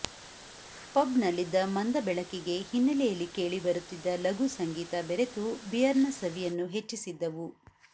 ಪಬ್ನಲ್ಲಿದ್ದ ಮಂದ ಬೆಳಕಿಗೆ ಹಿನ್ನಲೆಯಲ್ಲಿ ಕೇಳಿಬರುತ್ತಿದ್ದ ಲಘು ಸಂಗೀತ ಬೆರೆತು ಬಿಯರ್ನ ಸವಿಯನ್ನು ಹೆಚ್ಚಿಸಿದ್ದವು